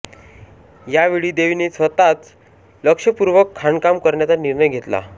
यावेळी देवीने स्वतःच लक्षपूर्वक खाणकाम करण्याचा निर्णय घेतला